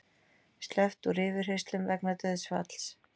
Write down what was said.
Sleppt úr yfirheyrslum vegna dauðsfalls